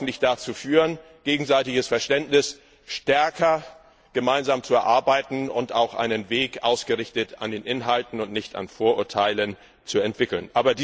Das mag hoffentlich dazu führen, gegenseitiges Verständnis stärker gemeinsam zu erarbeiten und auch einen Weg ausgerichtet an den Inhalten und nicht an Vorurteilen zu entwickeln.